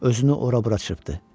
Özünü ora-bura çırpdı.